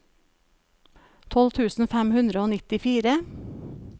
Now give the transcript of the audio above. tolv tusen fem hundre og nittifire